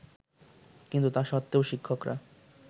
কিন্তু তা সত্ত্বেও শিক্ষকরা